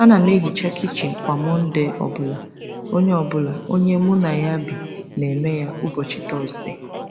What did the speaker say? Ana m ehicha kichin kwa Mọnde ọ bụla, onye bụla, onye mụ na ya bi na-eme ya ụbọchị Tọzdee.